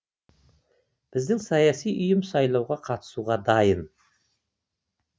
біздің саяси ұйым сайлауға қатысуға дайын